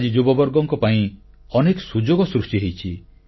ଆଜି ଯୁବବର୍ଗଙ୍କ ପାଇଁ ଅନେକ ସୁଯୋଗ ସୃଷ୍ଟି ହୋଇଛି